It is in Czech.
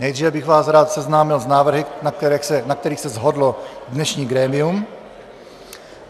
Nejdříve bych vás rád seznámil s návrhy, na kterých se shodlo dnešní grémium.